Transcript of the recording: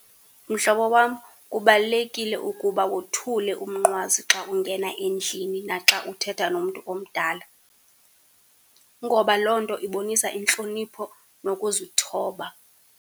Mhlobo wam, kubalulekile ukuba wothule umnqwazi xa ungena endlini naxa uthetha nomntu omdala, ngoba loo nto ibonisa intlonipho nokuzithoba.